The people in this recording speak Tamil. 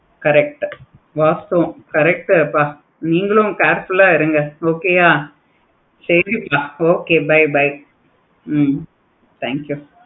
correct உ வாஸ்துவம் correct வாஸ்துவம் கொஞ்சம் careful ஆஹ் இருங்க சரியா சரி okay bye bye hmm thank you